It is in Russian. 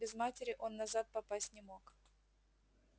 без матери он назад попасть не мог